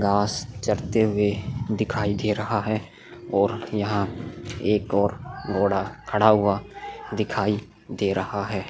घास चरते हुए दिखाई दे रहा है और यहाँ एक और घोड़ा खड़ा हुआ दिखाई दे रहा है।